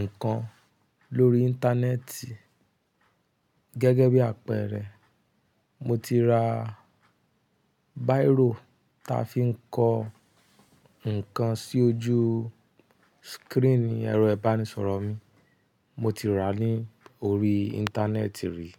nǹkan lórí Íńtánẹ́ẹ̀tì. Gẹ́gẹ́ bí àpẹẹrẹ, mo ti ra báírò ta fi ń kọ nǹkan sí ojú screen ẹ̀rọ ìbánisọ̀rọ̀ mi. Mo ti rà á ní orí Íńtánẹ́ẹ̀tì rí.